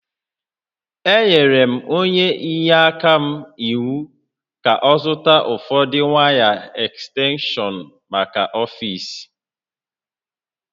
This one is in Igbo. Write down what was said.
Enyere m onye inyeaka m iwu ka ọ zụta ụfọdụ waya ekstenshọnmaka ọfiisi